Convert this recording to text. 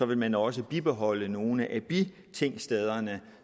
vil man også bibeholde nogle af bitingstederne